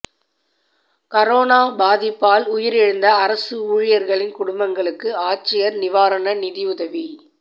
corona பாதிப்பால் உயிரிழந்த அரசு ஊழியா்களின் குடும்பங்களுக்கு ஆட்சியா் நிவாரண நிதியுதவி